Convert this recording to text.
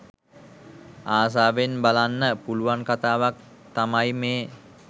ආසාවෙන් බලන්න පුලුවන් කතාවක් තමයි මේ.